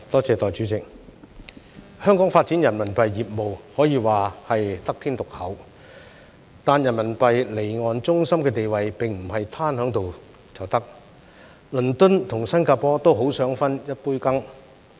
代理主席，香港發展人民幣業務，可以說是得天獨厚，但人民幣離岸中心的地位並不是"攤喺度就得"，倫敦和新加坡都很想分一杯羹。